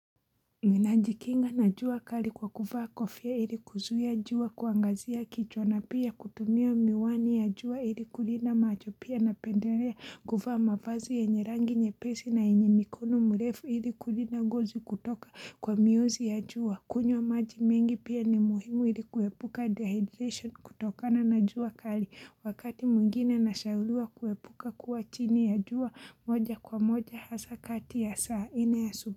Mimi najikinga na jua kali kwa kuvaa kofia ili kuzuia jua kuangazia kichwa na pia kutumia miwani ya jua ili kulinda macho pia napendelea kuvaa mavazi yenye rangi nyepesi na yenye mikono mrefu ili kulinda ngozi kutoka kwa miuzi ya jua. Kunywa maji mengi pia ni muhimu ili kuepuka dehydration kutokana na jua kali wakati mwingine nashauriwa kuepuka kuwa chini ya jua moja kwa moja hasa kati ya saa nne ya asubuhi.